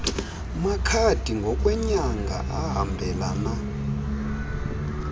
makhadi ngokweenyanga ahambelana